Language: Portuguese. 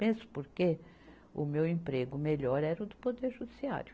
Mesmo porque o meu emprego melhor era o do Poder Judiciário.